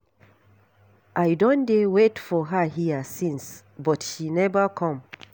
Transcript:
I don dey wait for her here since but she never come.